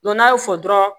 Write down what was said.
n'a y'o fɔ dɔrɔn